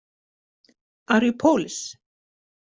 Are you Polish?